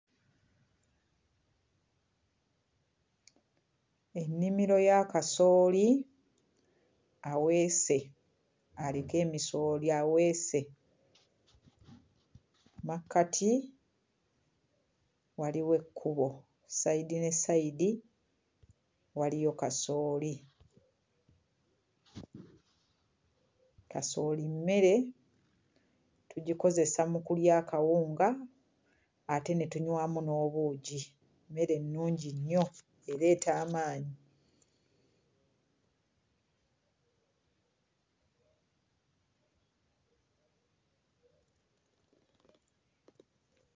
Ennimiro ya kasooli aweese aliko emisooli aweese. Mmakkati waliwo ekkubo. Sayidi ne sayidi waliyo kasooli. Kasooli mmere, tugikozesa mu kulya akawunga ate ne tunywamu n'obuugi mmere nnungi nnyo, ereeta amaanyi.